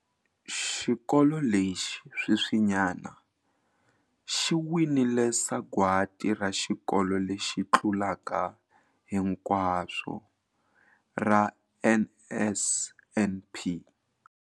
Xikolo lexi sweswinyana xi winile Sagwadi ra Xikolo lexi Tlulaka Hinkwaswo ra NSNP.